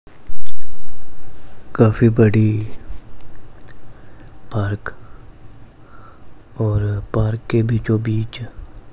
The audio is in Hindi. काफी बड़ी पार्क और पार्क के बीचों बीच--